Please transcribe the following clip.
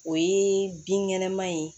O ye binkɛnɛma ye